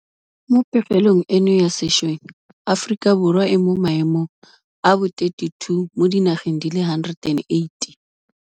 Mo pegelong eno ya sešweng Aforika Borwa e mo maemong a bo 32 mo di nageng di le 180.